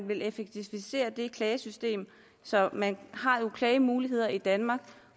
ville effektivisere det klagesystem så man har jo klagemuligheder i danmark